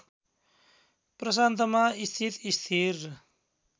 प्रशान्तमा स्थित स्थिर